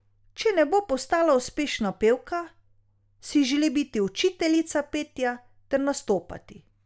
Če ne bo postala uspešna pevka, si želi biti učiteljica petja ter nastopati.